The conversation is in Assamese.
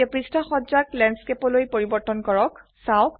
এতিয়া পৃষ্ঠা সজ্জাক ল্যান্ডস্কেপলৈ পৰিবৰ্তন কৰক